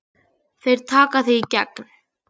Þeir taka þig í gegn!